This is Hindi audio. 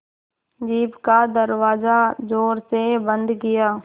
जीप का दरवाज़ा ज़ोर से बंद किया